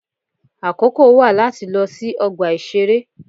Àkókò wà láti lọ sí ọgbà ìṣeré.